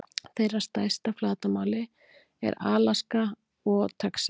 Þeirra stærst að flatarmáli eru Alaska og Texas.